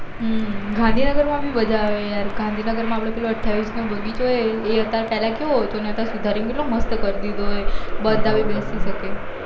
ગાંધીનગર માં બી મજા આવે યાર ગાંધીનગર માં આપડે પેલું અઠ્યાવીસ નો બગીચો એ અત્યારે પેહલા કેવો હતો ન અત્યારે સુધારી ને કેટલો મસ્ત કરી દીધ્યો હ બધા પણ બેસી સકે